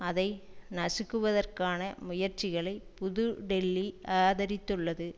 அதை நசுக்குவதற்கான முயற்சிகளை புது டெல்லி ஆதரித்துள்ளது